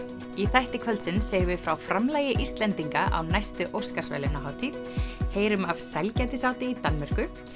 í þætti kvöldsins segjum við frá framlagi Íslendinga á næstu Óskarsverðlaunahátíð heyrum af sælgætisáti í Danmörku